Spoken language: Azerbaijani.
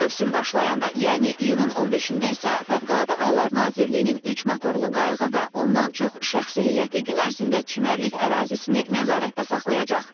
Mövsüm başlayanda, yəni iyunun 15-də isə Fövqəladə Hallar Nazirliyinin üç motorlu qayığı və ondan çox şəxsi heyəti gün ərzində çimərlik ərazisini nəzarətdə saxlayacaq.